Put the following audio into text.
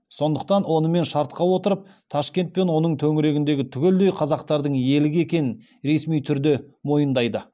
сондықтан онымен шартқа отырып ташкент пен оның төңірегінің түгелдей қазақтардың иелігі екенін ресми түрде мойындайды